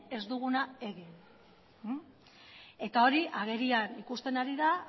ez duguna egin eta hori agerian ikusten ari da